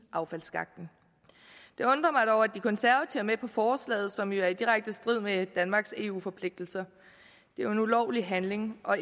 affaldsskakten det undrer mig dog at de konservative er med på forslaget som jo er i direkte strid med danmarks eu forpligtelser det er jo en ulovlig handling og